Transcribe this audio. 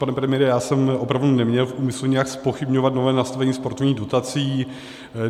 Pane premiére, já jsem opravdu neměl v úmyslu nějak zpochybňovat nové nastavení sportovních dotací.